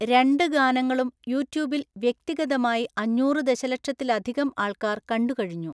രണ്ട് ഗാനങ്ങളും യൂട്യൂബിൽ വ്യക്തിഗതമായി അഞ്ഞൂറു ദശലക്ഷത്തിലധികം ആൾകാർ കണ്ടു കഴിഞ്ഞു.